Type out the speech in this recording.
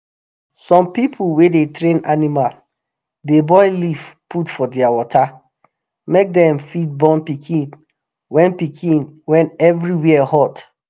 some people wey dey train animal dey boil leaf put for their water make dem fit born pikin when pikin when everywhere hot.